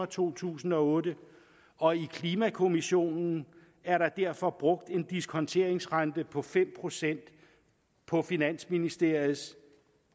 to tusind og otte og i klimakommissionen er der derfor brugt en diskonteringsrente på fem procent på finansministeriets